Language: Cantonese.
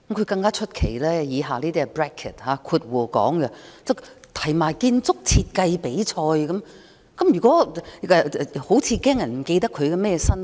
更出奇的是，原議案建議舉辦"建築設計比賽"，好像議案動議人擔心有人不記得他是甚麼身份。